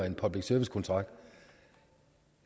en public service kontrakt